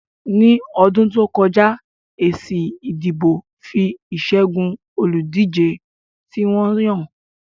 Ní ọdún tó kọjá, èsì ìdìbò fi ìṣẹ́gun olùdíje tí wọ́n yàn hàn